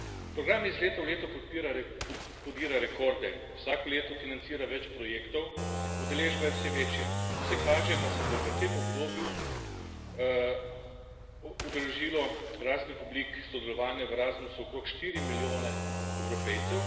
Program iz leta v leto podira rekorde, vsako leto financira več projektov, udeležba je vse večja. Vse kaže, da se bo v tem obdobju udeležilo raznih oblik sodelovanja v Erasmusu okrog 4 milijone Evropejcev.